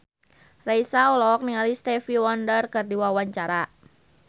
Raisa olohok ningali Stevie Wonder keur diwawancara